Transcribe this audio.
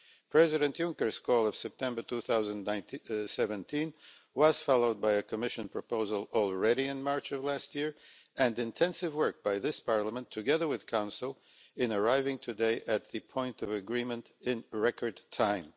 President Juncker's call in September 2017 was followed by a Commission proposal as early as March of last year and intensive work by this Parliament, together with the Council, in arriving today at the point of agreement in record time.